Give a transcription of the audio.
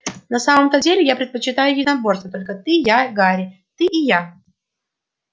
на самом-то деле я предпочитаю единоборство только ты я и гарри ты и я